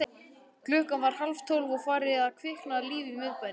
Klukkan var hálftólf og farið að kvikna líf í miðbænum.